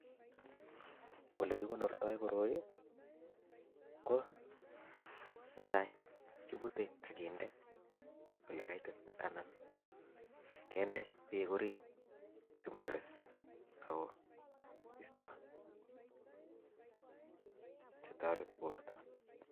Olekikonoorto koroi ko netai ko kibute ak kinde ole kaititit anan kinde beek orit simores, oko iisto chetoretii bortok